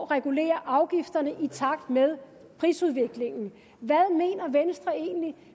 regulerer afgifterne i takt med prisudviklingen hvad mener venstre egentlig